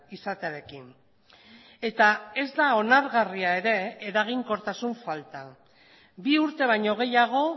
izatearekin eta ez da onargarria ere eraginkortasun falta bi urte baino gehiago